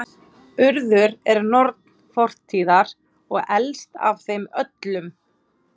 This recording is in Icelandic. Urður er norn fortíðar og elst af þeim öllum.